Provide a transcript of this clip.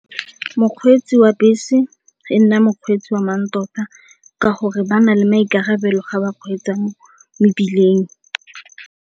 Mokgweetsi wa bese e nna mokgweetsi wa mantota ka gore ba na le maikarabelo ga ba kgweetsa mebileng.